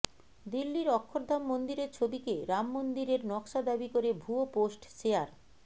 দিল্লীর অক্ষরধাম মন্দিরের ছবিকে রাম মন্দিরের নকশা দাবি করে ভুয়ো পোস্ট শেয়ার